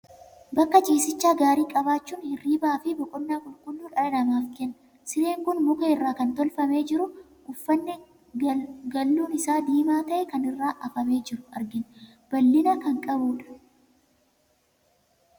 Bakka ciisichaa gaarii qabaachuun hirribaa fi boqonnaa qulqulluu dhala namaaf kenna. Sireen kun muka irraa kan tolfamee jiru, uffatni galluun isaa diimaa ta'e kan irra afamee jiru argina. Bal'ina kan qabudha.